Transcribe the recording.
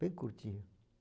Bem curtinho.